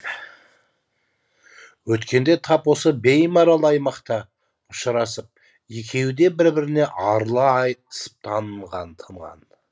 өткенде тап осы беймарал аймақта ұшырасып екеуі де бір бірінен арыла айтысып тынған